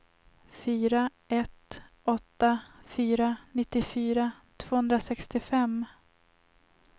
fyra ett åtta fyra nittiofyra tvåhundrasextiofem